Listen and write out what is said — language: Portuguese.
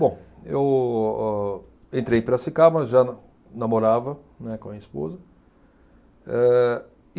Bom, eu, ô, entrei em Piracicaba, já na, namorava, né, com a minha esposa. Eh